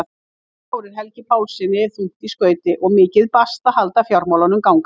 Þetta ár er Helga Pálssyni þungt í skauti og mikið basl að halda fjármálunum gangandi.